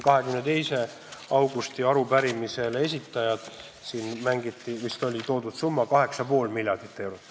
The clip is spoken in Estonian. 22. augusti arupärimise esitajad panid algul kirja summa 13 miljardit, pärast asendasid selle 8,5 miljardiga.